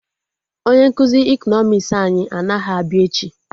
Onye nkụzi ekọnọmis anyị anaghị abịa echi